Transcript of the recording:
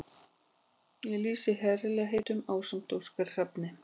Ég lýsi herlegheitunum ásamt Óskari Hrafni.